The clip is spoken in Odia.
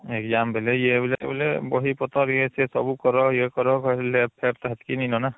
exam ବେଲେ ୟେ ବେଲେ ବହି ପତ୍ର ୟେ ସିଏ ସବୁ କର ୟେ କର lab fab ସେତକୀ ନାଇଁ ନ ନା